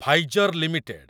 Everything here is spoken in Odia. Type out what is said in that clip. Pfizer limited